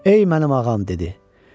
Ey mənim ağam dedi.